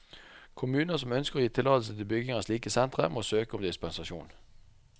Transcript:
Kommuner som ønsker å gi tillatelse til bygging av slike sentre, må søke om dispensasjon.